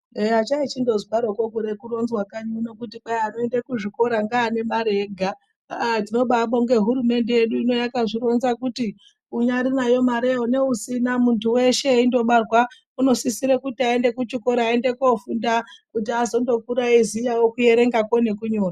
Eya chaichondozwaroko kuda kuronzwa kanyi uno kuti kwai anoenda kuzvikora ngeane mare ega, agh tinobaabonga hurumende yedu ino yakazvironza kuti hai unyari nayo mareyo neusina, munthu weshe eindobarwa unosisire kuti aende kuchikora aende koofunda kuti azondokura eiziyawo kuerengakwo nekunyora.